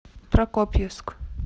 прокопьевск